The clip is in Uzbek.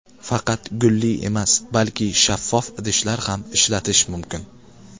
Faqat gulli emas, balki shaffof idishlar ham ishlatish mumkin.